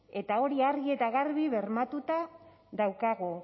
eta hori argi eta garbi bermatuta daukagu